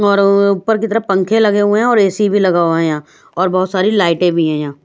औरअअअ ऊपर की तरफ पंखे लगे हुए हैं और ए_सी भी लगा हुआ है यहाँ और बहोत सारी लाइटें भी हैं यहाँ --